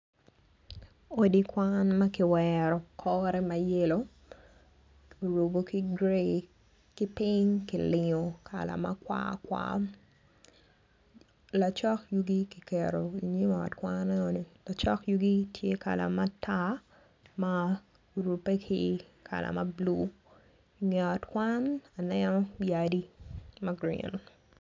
Odi kwan ma kiwero kore ma yelo ki rubo ki grayi ki piny ki rubo ki kala ma kwakwa lacok yugi kiketo i nyim ot enoni lacok yugi tye kala matar ma rubbe ki kala ma bulu i nge ot kwan aneno yadi ma grin.